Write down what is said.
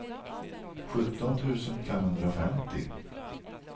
sjutton tusen femhundrafemtio